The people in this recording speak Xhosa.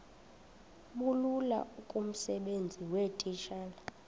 bulula kumsebenzi weetitshala